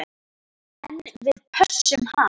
En við pössum hann.